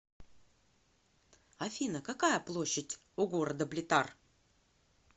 афина какая площадь у города блитар